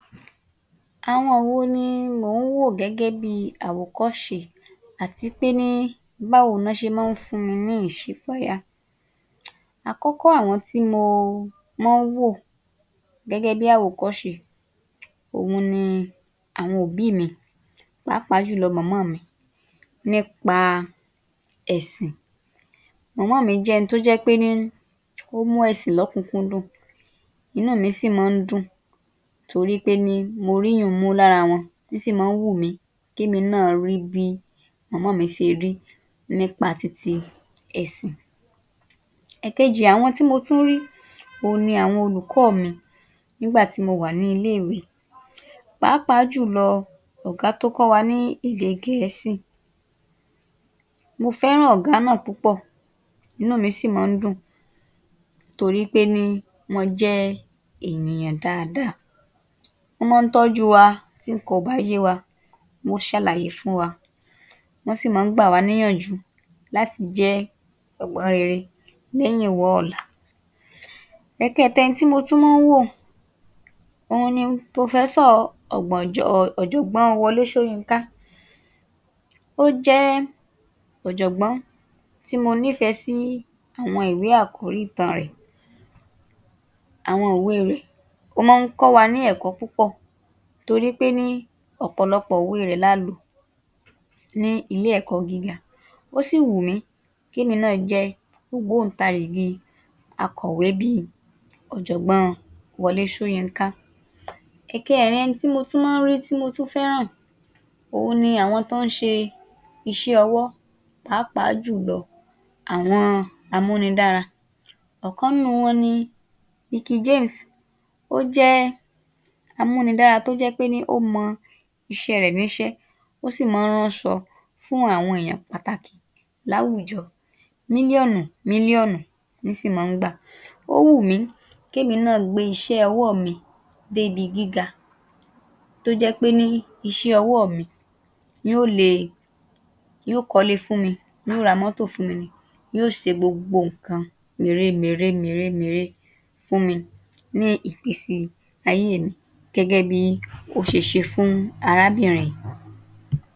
Àwọn wo ni mò ń wò gẹ́gẹ́ bíi àwòkọ́ṣe, àtí péní báwo ni wọ́n ṣe mọ́n ń fún mi ní ìṣípayá? Àkọ́kọ́, àwọn tí mo mọ́n ń wò gẹ́gẹ́ bí àwòkọ́ṣe òhun ni àwọn òbí mi, pàápàá jùlọ, mọ̀mọ́ mi nípa ẹ̀sìn. Mọ̀mọ́ mi jẹ́ ẹni tó jẹ́ ńpéní ó mú ẹ̀sìn lọ́kúnkúndùn, inú mi sì mọ́n ń dùn torí péní mo rí ìyú-un mú lára wọn, í sì mọ́n ń wùmí kémi náà rí bí mọ̀mọ́ mi ṣe rí nípa ti ti ẹ̀sìn. Ẹ̀ẹ̀kejì, àwọn tí mo tún rí òhun ni àwọn olùkọ́ mi nígbà tí mo wà ní ilé-ìwé, pàápàá jùlọ, ọ̀gá tó kọ́ wa ní èdè gẹ̀ẹ́sì. Mo fẹ́ràn ọ̀gá náà púpọ̀, inú mì mọ́n ń dùn torí péní wọ́n jẹ́ ènìyàn dáadáa, wọ́ mọ́n n tọ́jú wa, tí ǹkan ò bá yé wa, wọ́n ó ṣàlàyé fún wa, wọ́n sì mọ́n ń gbà wá níyànjú láti jẹ́ ọ̀wọ́ rere lẹ́yìnwá ọ̀la. Ẹ̀kẹẹ̀ta, ẹni tí mo tún mọ́n ń wò òun ni pòfẹ́sọ̀ ọ̀gbọ̀njọ́... ọ̀jọ̀gbọ́n Wọlé Ṣóyínká. Ó jẹ́ ọ̀jọ̀gbọ́n tí mo nífẹ̀ẹ́ sí àwọn ìwé àkòrí ìtàn rẹ̀, àwọn ìwé rẹ̀. Ó mọ́n ń kọ́ wa ní ẹ̀kọ́ púpọ̀ torí péní ọ̀pọ̀lọpọ̀ ìwé rẹ̀ la lò ní ilé-ẹ̀kọ́ gíga, ó sì wù mí kémi náà jẹ́ ògbóǹtarìgì akọ̀wé bíi Ọ̀jọ̀gbọ́n Wọlé Ṣóyínká. Ẹ̀kẹẹ̀rin, ẹni tí mo tún mọ́n ń rí, tí mo tún fẹ́ràn òhun ni àwọn án ń ṣe iṣẹ́-ọwọ́, pàápàá jùlọ, àwọn amúnidára. Ọ̀kan nínú wọn ni Veekee James. Ó jẹ́ amúnidára tó jẹ́ pení ó mọ iṣẹ́ rẹ̀ níṣẹ́, ó sì mọ́n ń ránṣọ fún àwọn èèyàn pàtàkì láwùjọ, mílíọ̀nù mílíọ̀nù ní sì mọ́n ń gbà. Ó wù mú kémi náà gbé iṣẹ́-ọwọ́ mi débi gíga, tó jẹ́ péní iṣẹ́-ọwọ́ mi yó le, yó kọ́lé fún mi, yó ra mọ́tò fún mi ni, yó se gbogbo ǹkan mère mère mère mère fún mi ní ìgbésí ayé mi gẹ́gẹ́ bí ó ṣe ṣe fún arábìnrin.